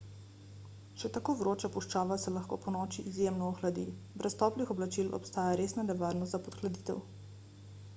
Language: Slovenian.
še tako vroča puščava se lahko ponoči izjemno ohladi brez toplih oblačil obstaja resna nevarnost za podhladitev